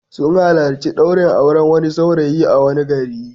Sun halarci ɗaurin auren wani saurayi a wani gari.